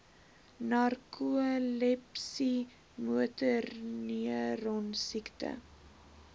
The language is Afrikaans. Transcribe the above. narkolepsie motorneuron siekte